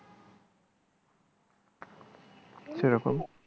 সেরকম